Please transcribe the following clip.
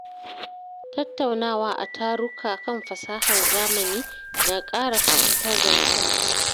Tattaunawa a taruka kan fasahar zamani na ƙara fahimtar da mutane.